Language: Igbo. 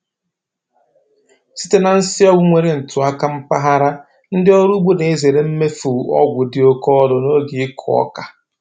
Site na nsị ọgwụ nwere ntụaka mpaghara, ndị ọrụ ugbo na-ezere imefu ọgwụ dị oke ọnụ n’oge ịkụ oka.